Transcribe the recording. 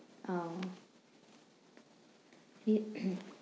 ওহ! ঠিক।